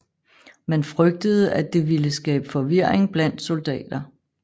Man frygtede at det ville skabe forvirring blandt soldater